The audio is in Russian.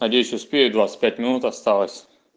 надеюсь успею двадцать пять минут осталось